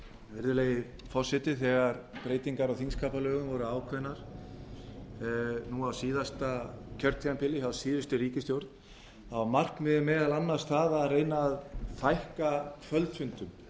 virðulegi forseti þegar breytingar á þingskapalögum voru ákveðnar á síðasta kjörtímabili af síðustu ríkisstjórn þá var markmiðið meðal annars að reyna að fækka kvöldfundum